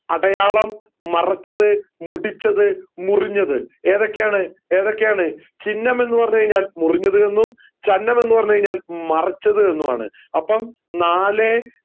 അടയാളം മറച്ചത് മുടിച്ചത് മുറിഞ്ഞത് ഏതൊക്കെയാണ് ഏതൊക്കെയാണ് ചിഹ്നം എന്ന് പറഞ്ഞു കൈഞ്ഞാൽ മുറിഞ്ഞത് എന്നും ചന്നം എന്ന് പറഞ്ഞു കൈഞ്ഞാൽ മറച്ചത് എന്നുമാണ് അപ്പം നാലേ